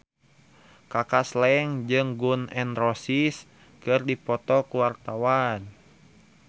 Kaka Slank jeung Gun N Roses keur dipoto ku wartawan